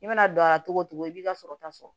I mana don a la togo togo i b'i ka sɔrɔ ta fɔ